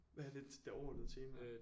Hvad er dit det overordnede tema